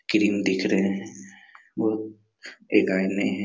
Cream दिख रहे हैं वो एक आईने हैं।